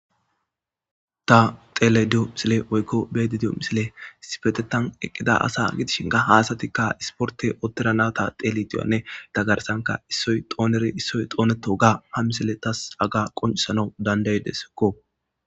ta telediyo misile woykko beedidiyo misile sifetetan eqqida asa gidishin ka haasatikka isporte ottira nata telitiyanne ta garsanka issoy xooneri issoy xooneto ga ha misile tas aga qoncisana dandaydesekko